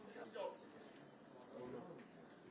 Görürsüz, yəni, bu Azərbaycanda hərbi hissəni.